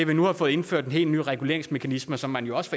vi nu får indført en helt ny reguleringsmekanisme som man jo også